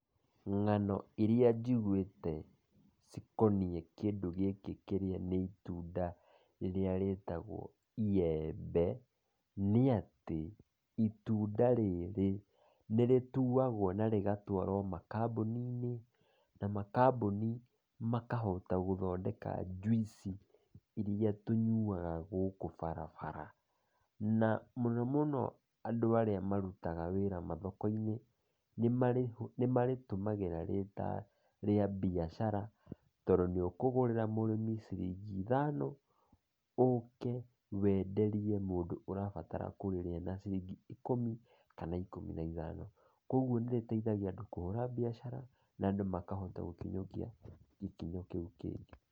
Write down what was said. Ngano iria jigwĩte cikoniĩ kĩndũ gĩkĩ, kĩrĩa nĩ itunda rĩrĩa rĩtagwo iyembe, nĩ atĩ itunda rĩrĩ nĩrĩtuagwo na rĩgatwarwo makambuni-inĩ, na makambuni makahota gũthondeka juici iria tũnyuaga gũkũ barabara, na mũno mũno andũ arĩa marutaga wĩra mathoko-inĩ, nĩ marĩtũmagĩra rĩta rĩa biacara, tondũ nĩ ũkũgũrĩra mũrĩmi ciringi ithano , ũke wenderie mũndũ ũrabatara kũrĩrĩa na ciringi ikũmi kana ikũmi na ithano, kũgwo nĩrĩteithagia andũ kũhũra biacara na andũ makahota gũkinyũkia gĩkinyo kĩu kĩngĩ.